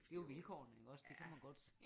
Det er jo vilkårene ik også det kan man godt se